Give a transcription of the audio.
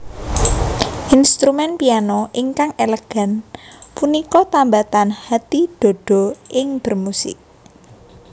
Instrumen piano ingkang elegan punika tambatan hati Dodo ing bermusik